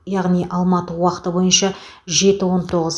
яғни алматы уақыты бойынша жеті он тоғыз